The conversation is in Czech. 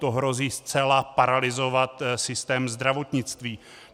To hrozí zcela paralyzovat systém zdravotnictví.